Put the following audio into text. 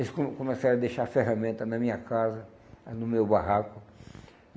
Eles ficam começaram a deixar a ferramenta na minha casa, no meu barraco.